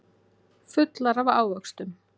Fullar af ávöxtum.